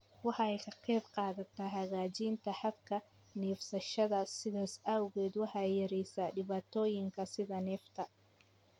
Waxay ka qaybqaadataa hagaajinta habka neefsashada, sidaas awgeed waxay yareysaa dhibaatooyinka sida neefta.